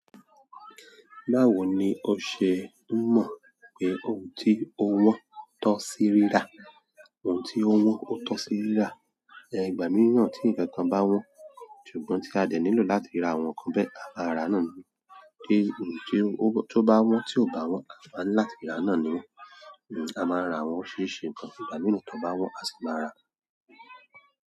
Báwo ni o ṣe ń mọ̀ pé ohun tí ó wọ́n tọ sí rírà? Ohun tí ó wọ́n ó tọ sí rírà. Ìgbà mííràn tí ǹkan kan bá wọ́n, ṣùgbọ́n tí a dẹ̀ nílò láti ra àwọn nǹkan bẹ́ẹ̀, a máa ra náà ni. Kí ohun tí ó bá wọ́n tí ò bá wọ́n, a máa ń láti rà á náà ni wọ́n. A máa ń rà awọ́n oríṣiríṣi ǹkan. Ìgbà mìíràn tí wọ́n bá wọ́n, a sì máa rà á.